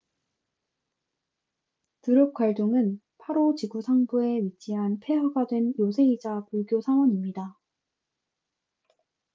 드룩갈종drukgyal dzong은 파로 지구 상부phondey 마을에 위치한 폐허가 된 요새이자 불교 사원입니다